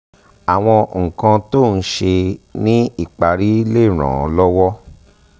àwọn nǹkan tó ń ṣe é ní ìparí lè ràn án lọ́wọ́